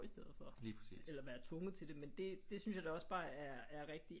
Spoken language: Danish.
I stedet for eller være tvunget til det men det det synes jeg da også bare er er rigtig